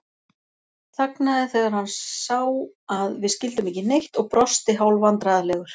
Þagnaði þegar hann sá að við skildum ekki neitt og brosti hálfvandræðalegur.